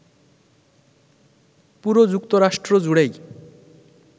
পুরো যুক্তরাষ্ট্র জুড়েই